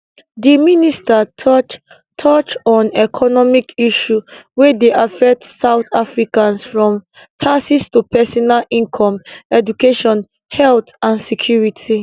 di minister touch touch on economic issues wey dey affect south africans from taxes to personal income education health and security